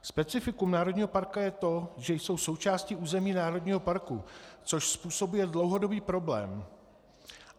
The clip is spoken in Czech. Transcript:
Specifikum národního parku je to, že jsou součástí území národního parku, což způsobuje dlouhodobý problém.